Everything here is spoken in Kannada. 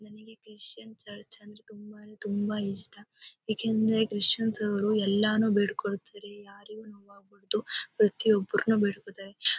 ನಂಗೆ ಕ್ರಿಸ್ಟಿಯನ್ಸ್ ಚರ್ಚ್ ಅಂದ್ರೆ ತುಂಬಾ ತುಂಬಾ ಇಷ್ಟ. ಏಕೆಂದರೆ ಕ್ರಿಶ್ಚಿಯನ್ಸ್ ರವರು ಎಲ್ಲಾನು ಬೇಡ್ಕೊಳ್ತಾರೆ ಯಾರಿಗೂ ನೋವಾಗ್ಬಾರ್ದು ಮತ್ತು ಪ್ರತಿಯೊಬ್ಬರನ್ನು ಬೇಡಿಕೊಳ್ತಾರೆ. ಹ--